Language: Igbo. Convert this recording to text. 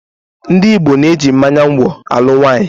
Ndị Igbo na-eji mmánya ngwọ̀ alụ nwaanyị.